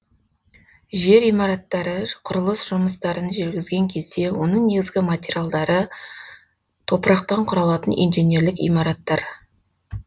жер имараттары құрылыс жұмыстарын жүргізген кезде оның негізгі материалдары топырақтан құралатын инженерлік имараттар